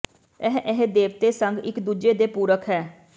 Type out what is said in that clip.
ਇਹ ਇਹ ਦੇਵਤੇ ਸੰਗ ਇੱਕ ਦੂਜੇ ਦੇ ਪੂਰਕ ਹੈ